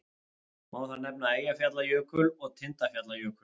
Má þar nefna Eyjafjallajökul og Tindfjallajökul.